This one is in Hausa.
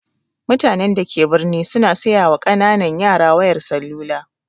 Mutanen da ke birni su na siyawa ƙananan yara wayar salula